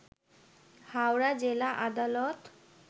হাওড়া জেলা আদালত